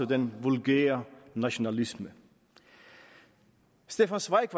den vulgære nationalisme stefan zweig